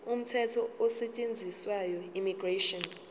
umthetho osetshenziswayo immigration